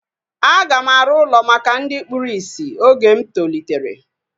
A ga m arụ ụlọ maka ndị kpụrụ isi oge m tolitere